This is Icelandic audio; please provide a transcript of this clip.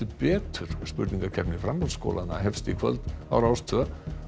betur spurningakeppni framhaldsskólanna hefst í kvöld á Rás tveggja